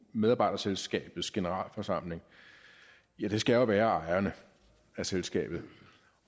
medarbejderselskabets generalforsamling jo skal være ejerne af selskabet